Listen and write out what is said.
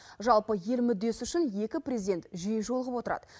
жалпы ел мүддесі үшін екі президент жиі жолығып отырады